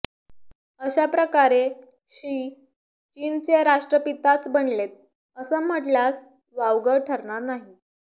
अशा प्रकारे क्षी चीनचे राष्ट्रपिताच बनलेत असं म्हटल्यास वावगं ठरणार नाही